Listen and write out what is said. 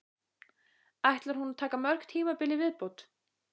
Ætlar hún að taka mörg tímabil í viðbót?